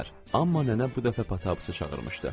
Amma nənə bu dəfə Potapı çağırmışdı.